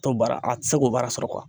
T'o baara a tɛ se k'o baara sɔrɔ